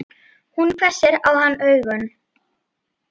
Hún hvessir á hann augun.